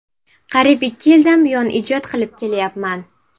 Qariyib ikki yildan buyon ijod qilib kelayapman.